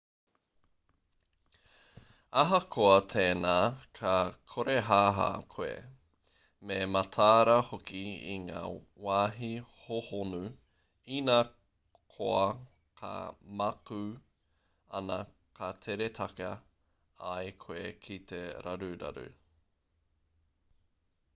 ahakoa tēnā ka korehāhā koe me matāra hoki i ngā wāhi hōhonu inā koa ka mākū ana ka tere taka ai koe ki te raruraru